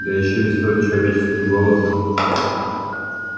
да ещё и столь человеческим голосом